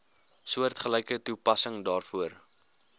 soortgelyke toepassing daarvoor